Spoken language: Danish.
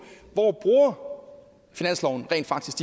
hvor finansloven rent faktisk